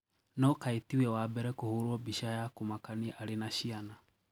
No kae tiwe wa mbere kũhũrwo bica ya kũmakanĩa arĩ naçiana.